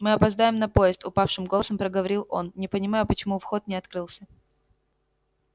мы опоздаем на поезд упавшим голосом проговорил он не понимаю почему вход не открылся